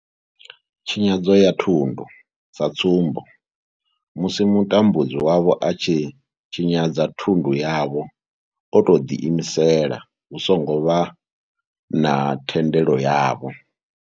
Tshinyadzo ya thundu sa tsumbo, musi mutambudzi wavho a tshi tshinyadza thundu yavho o tou ḓi imisela hu songo vha na thendelo yavho.